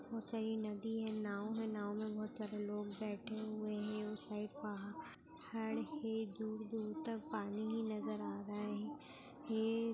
नदी है नाव है नाव मे बहुत सारे लोग बैठे हुए है उ साइड पहाड़ है बहुत दूर-दूर तक पानी ही नजर आ रहा है हेए --